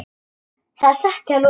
Það er satt hjá Lúlla.